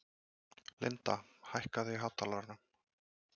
Linda, hækkaðu í hátalaranum.